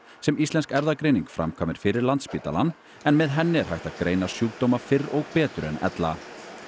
sem Íslensk erfðagreining framkvæmir fyrir Landspítalann en með henni er hægt að greina sjúkdóma fyrr og betur en ella